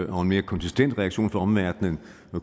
mere konsistent reaktion fra omverdenen